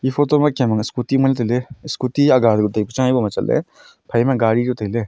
photo ma kem ang scooty aga takuk hebo ma chatley phaima gaari chu tailey.